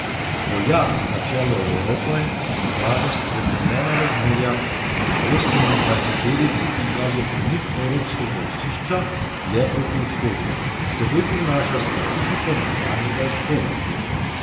Poljak na čelu Evrope odraža spremenjena razmerja v osemindvajseterici in kaže premik evropskega osišča dlje proti vzhodu, s seboj prinaša specifiko nekdanjega Vzhoda.